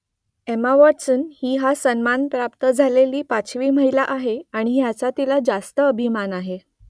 Emma Watson ही हा सन्मान प्राप्त झालेली पाचवी महिला आहे आणि याचा तिला रास्त अभिमान आहे